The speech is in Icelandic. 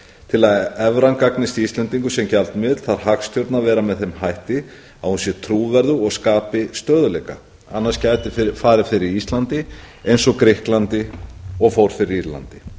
til að evran gagnist íslendingum sem gjaldmiðill þarf hagstjórnin að vera með þeim hætti að hún sé trúverðug og skapi stöðugleika annars gæti farið fyrir íslandi eins og grikklandi og og fór fyrir írlandi